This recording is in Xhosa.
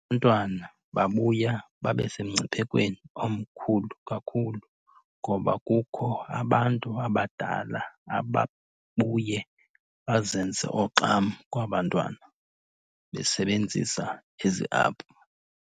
Abantwana babuya babe semngciphekweni omkhulu kakhulu ngoba kukho abantu abadala ababuye bazenze oxam kwaba 'ntwana besebenzisa ezi aphu.